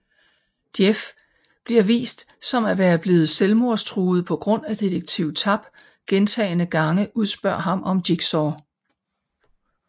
Jeff bliver vist som at være blevet selvmordstruet på grund af Detektiv Tapp gentagne gange udspørger ham om Jigsaw